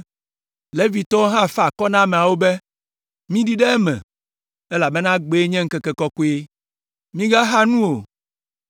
Levitɔwo hã fa akɔ na ameawo be, “Miɖi ɖe eme, elabena egbee nye ŋkeke kɔkɔe. Migaxa nu o.”